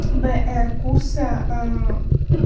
б р курса аа